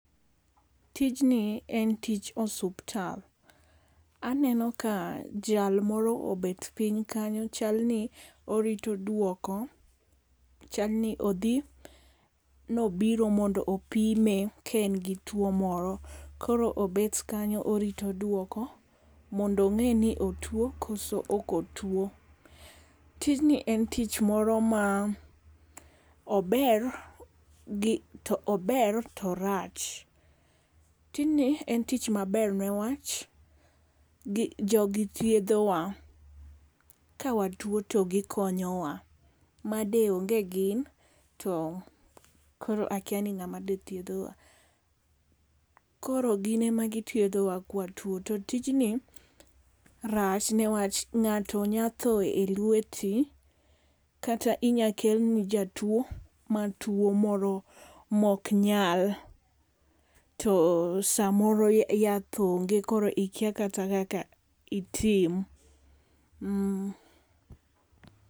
Tijni en tij osuptal. Aneno ka jalmoro obet piny kanyo chal ni orito duoko. Chalni odhi nobiro mondo opime ka en gi tuo moro. Koro obet kanyo orito duoko mondo ong'e ni otio koso ok otuo. Tijni en tich moro ma ober to ober to orach. Tijni en tich maber ne wach jogi thiedhowa. Ka watuo to gikonyo wa. Made onge gin to kor akia ni ng'ama de thiedhowa. Koro gin e ma gi thiedhowa kwa watuo. To tijni rach newach ng'ato nya tho e lweti kata inya kelni jatuo matuo moro mok nyal. To samoro yath onge koro ikia kata kaka itim.